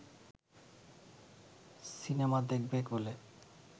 cinema দেখবে বলে